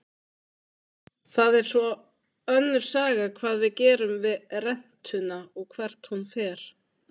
Það er svo önnur saga hvað við gerum við rentuna og hvert hún fer.